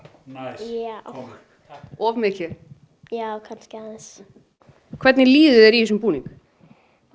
já of mikið já kannski aðeins hvernig líður þér í þessum búning bara